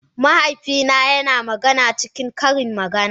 Mahaifina yana magana cikin ƙarin magana.